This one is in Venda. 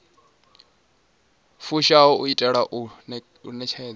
fushaho u itela u ṋetshedza